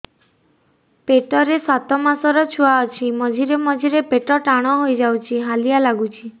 ପେଟ ରେ ସାତମାସର ଛୁଆ ଅଛି ମଝିରେ ମଝିରେ ପେଟ ଟାଣ ହେଇଯାଉଚି ହାଲିଆ ଲାଗୁଚି